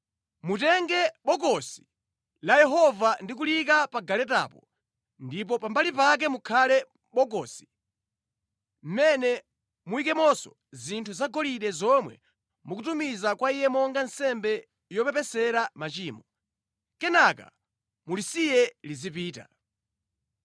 Mutenge Bokosi la Yehova ndi kuliyika pa galetapo ndipo pambali pake pakhale Bokosi, mʼmene muyikemonso zinthu zagolide zomwe mukutumiza kwa Iye monga nsembe yopepesera machimo. Kenaka, mulisiye lizipita.